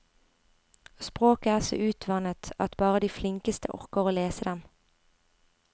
Språket er så utvannet at bare de flinkeste orker å lese dem.